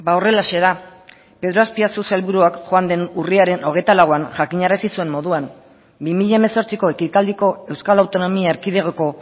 horrelaxe da pedro azpiazu sailburuak joan den urriaren hogeita lauan jakinarazi zuen moduan bi mila hemezortziko ekitaldiko euskal autonomia erkidegoko